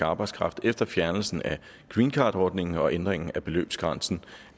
arbejdskraft efter fjernelsen af greencardordningen og ændringen af beløbsgrænsen